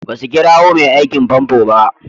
Basu kirowa mai aikin fanfo ba.